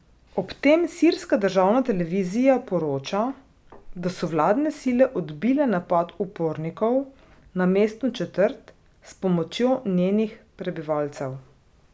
Ob tem sirska državna televizija poroča, da so vladne sile odbile napad upornikov na mestno četrt s pomočjo njenih prebivalcev.